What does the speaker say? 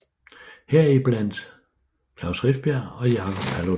Her i blandt Klaus Rifbjerg og Jacob Paludan